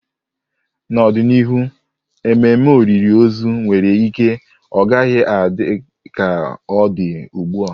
N'ọdịnihu, ememe olili ozu nwere ike ọ gaghị adị ka ọ dị ugbu a.